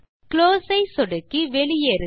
close ஐ சொடுக்கி வெளியேறுக